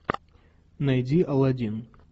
найди аладдин